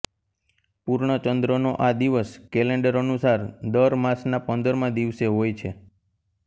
પૂર્ણ ચંદ્રનો આ દિવસ કેલેન્ડર અનુસાર દર માસના પંદરમા દિવસે હોય છે